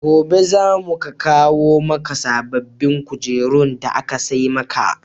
Gobe za mu kawo maka sabbbin kujerun da aka sai maka.